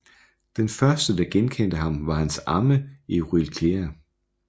Den første der genkendte ham var hans amme Euryclea